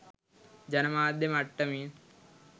ජන මාධ්‍ය මට්ටමින්